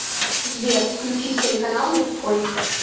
сбер включить телеканал мужской